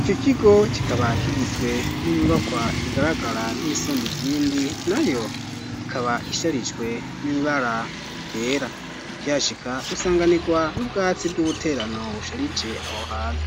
Ico kigo, kikaba kigizwe n'inyubakwa, igaragara nk'iyisumbi izindi; nayo ikaba isharijwe, n'ibara ryera; ukihashika, usanganirwa n'ubwatsi, bw'ubuterano, busharije aho hantu;